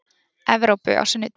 Evrópu á sunnudegi.